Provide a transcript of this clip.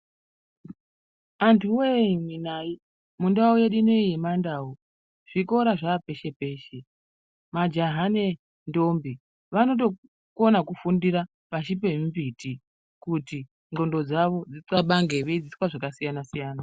Antu voye imi nai mundau yedu inoiyi yemandau zvikora zvapeshe-peshe. Majaha nendombi vanotokona kufundira pashi pemimbiti kuti ndxondo dzavo dzitxabange veidzidziswa zvakasiyana-siyana.